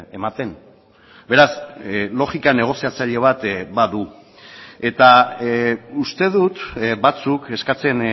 ematen beraz logika negoziatzaile bat badu eta uste dut batzuk eskatzen